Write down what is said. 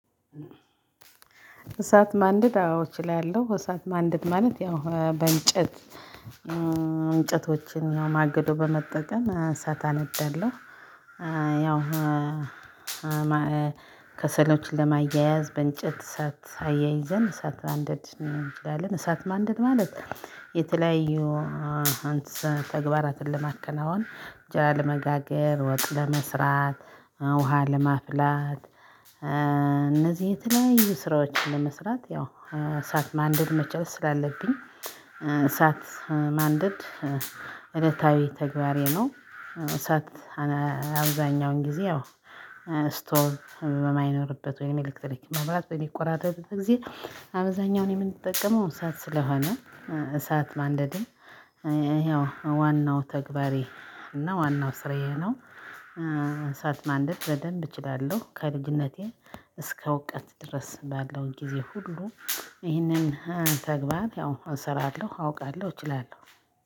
እሳት ማንደድ አዎ እችላለሁ እሳት ማንደድ ማለት ያው በእንጨት እንጨቶችን ነው ማገዶ በመጠቀም እሳት አነዳለሁ። እ ያው እ ከሰሎችን ለማያያዝ በእንጨት ሳት አያይዘን እሳት ማንደድ እንችላለን። እሳት ማንደድ ማለት የተለያዩ አንተ ተግባራትን ለማከናወን እንጀራ ለመጋገር ወጥ ለመስራት ውሃ ለማፍላት እነዚህ የተለያዩ ስራዎችን ለመስራት ያው እሳት ማንደድ መቻል ስላለብኝ እሳት ማንደድ እለታዊ ተግባሬ ነው። እሳት አብዛኛውን ጊዜ አዎ ስቶቭ በማይኖርበት ወይም ኤሌክትሪክ መብራት በሚቆራጠጥ ጊዜ አብዛኛውን የምንጠቀመው እሳት ስለሆነ እሳት ማንደድም ያው ዋናው ተግባሬ እና ዋናው ስራዬ ነው። እንሳት ማንደድ በደንብ እችላለሁ ከልጅነቴ እስከ እውቀት ድረስ ባለው ጊዜ ሁሉ ይህንን ተግባር ያው እሰራለሁ አውቃለሁ እችላለሁ።